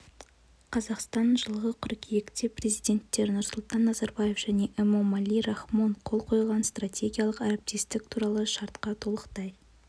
қазақстан жылғы қыркүйекте президенттер нұрсұлтан назарбаев және эмомали рахмон қол қойған стратегиялық әріптестік туралы шартқа толықтай